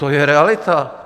To je realita.